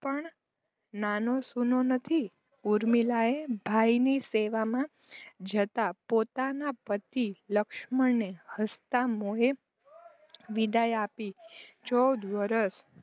પણ નાનોસૂનો નથી. ઊર્મિલાએ ભાઈની સેવામાં જતા પોતાના પતિ લક્ષ્મણને હસતા મોંએ વિદાય આપીને ચૌદ વર્ષ